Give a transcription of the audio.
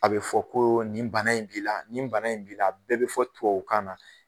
A bɛ fɔ ko nin bana in b'i la, nin bana in b'i la, a bɛɛ bɛ fɔ tubabu kan na